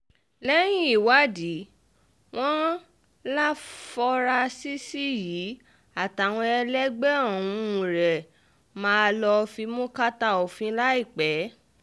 lẹ́yìn ìwádìí wọn láfọrasísì yìí àtàwọn ẹlẹgbẹ́ ún rẹ máa lọ fimú káta òfin láìpẹ́